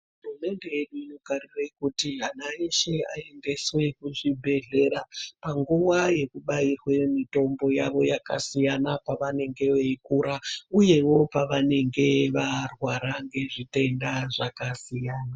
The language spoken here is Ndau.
Hurumende yedu inogarire kuti ana eshe aendeswe kuzvibhedhlera panguwa yekubairwe mitombo yavo yakasiyana pavanenge veikura uyewo pavanenge varwara ngezvitenda zvakasiyana.